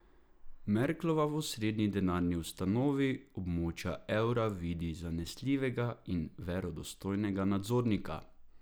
Merklova v osrednji denarni ustanovi območja evra vidi zanesljivega in verodostojnega nadzornika.